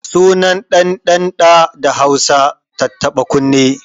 Sunan ɗan ɗan ɗa da Hausa tattaɓa kunne